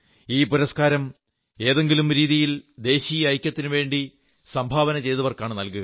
ഈ പുരസ്കാരം ഏതെങ്കിലും രീതിയിൽ ദേശീയ ഐക്യത്തിനുവേണ്ടി സംഭാവന ചെയ്തവർക്കാണു നല്കുക